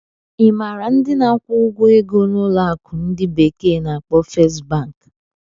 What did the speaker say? Ị maara ndị na-akwụ ụgwọ ego na ụlọ akụ ndi bekee na-akpo Fest Banki?